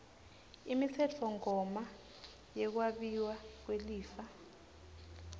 imitsetfomgomo yekwabiwa kwelifa